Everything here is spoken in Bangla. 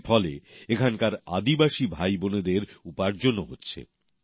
এর ফলে এখানকার আদিবাসী ভাইবোনেদের উপার্জনও হচ্ছে